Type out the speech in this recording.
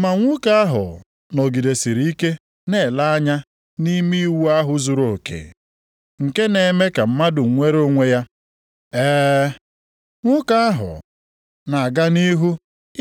Ma nwoke ahụ nọgidesịrị ike na-ele anya nʼime iwu ahụ zuruoke, nke na-eme ka mmadụ nwere onwe ya, ee, nwoke ahụ na-aga nʼihu